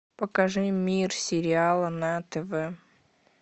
покажи мир сериала на тв